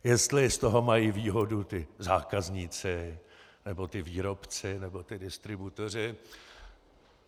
Jestli z toho mají výhodu ti zákazníci, nebo ti výrobci, nebo ti distributoři.